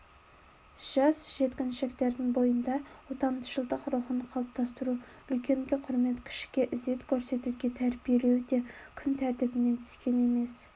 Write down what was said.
жас жеткіншектердің бойында отаншылдық рухын қалыптастыру үлкенге құрмет кішіге ізет көрсетуге тәрбиелеу де күн тәртібінен түскен емес